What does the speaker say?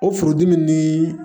O furudimi ni